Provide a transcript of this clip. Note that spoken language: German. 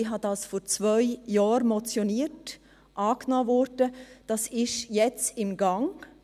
Ich motionierte dies vor zwei Jahren, es wurde angenommen, und ist jetzt im Gang